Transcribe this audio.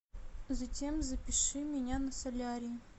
затем запиши меня на солярий